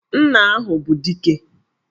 Nna ahụ bụ Dike!